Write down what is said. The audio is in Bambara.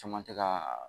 Caman tɛ ka